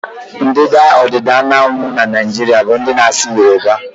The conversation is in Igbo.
Ndịda ọdịda anyanwụ Naijiria bụ ndị na-asụ yoruba.